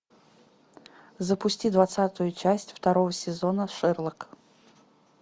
запусти двадцатую часть второго сезона шерлок